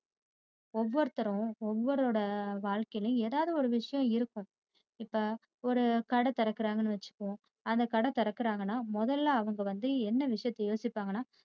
ஓவர்த்தரும் ஓவருவரோடே வாழ்கையிலும் ஏதாவது ஒரு விஷயம் இருக்கும். இப்ப ஒரு கடை திறக்கிறாங்கனு வச்சிப்போம் அந்த கடை திறக்கிறாங்கனா மொதல்ல அவங்க வந்து என்ன விஷயத்தை யோசிப்பிப்பாங்கனா